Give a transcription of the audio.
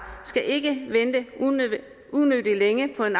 skal ikke vente unødigt længe på en